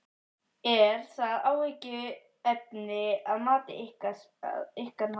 Er það áhyggjuefni að ykkar mati?